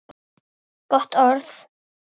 Gott orð.